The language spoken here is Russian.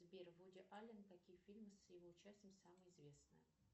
сбер вуди ален какие фильмы с его участием самые известные